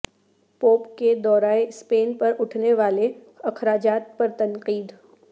pope کے دورہ Spain پر اٹھنے والے اخراجات پر تنقید